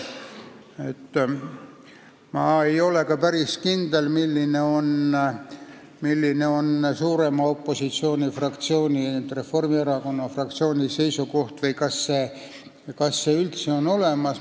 Ma ei ole ka päris kindel, milline on kõige suurema opositsioonifraktsiooni Reformierakonna fraktsiooni seisukoht või kas see üldse on olemas.